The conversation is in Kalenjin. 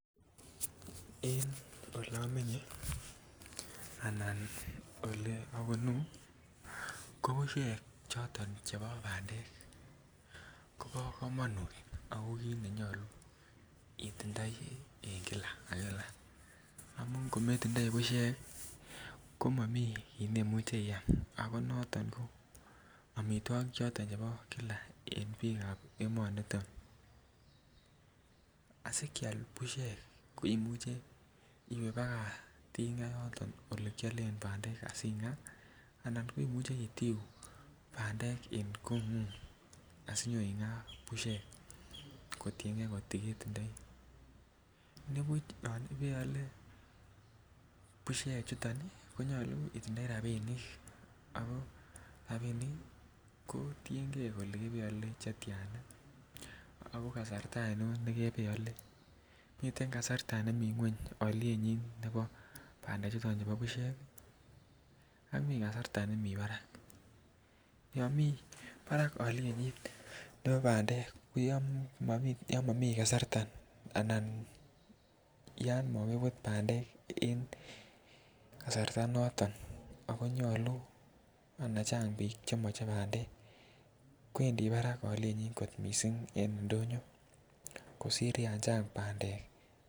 En olomenye anan ole obunu ko bushek choton chebo bandek kobo komonut ako kit nenyoluu itindoi en Kila ak Kila amun kometindoi bushek ko momii kii neimuche iam ako noton ko omitwokik choton chebo Kila en biikab emoni niton. Asi kyal bushek imuche iwe baka yoton ole kyolen bandek asi gaa ana imuche itiu bandek en kongung asi inyo igaa bushek kotiengee koti ketindoi. Anibuch kot ko keole ko nyoluu itindoi rabinik ako rabinik ii ko tiengee kole kebe ole che tyana ako kasarta oinon nekebee ole. Miten kasarta ne miten kweny olyenyin nebo bandek chuton chubo bushek ii ak mii kasarta nemii barak, yon mii Barak olyenyin nebo bandek ko yon momii kasarta anan yon mokibut bandek en kasarta noton ako nyoluu ana Chang biik che moche bandek kwendi barak olyenyin kit missing en ndonyo kosir yan Chang bandek